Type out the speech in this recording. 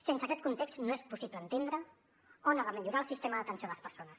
sense aquest context no és possible entendre on ha de millorar el sistema d’atenció a les persones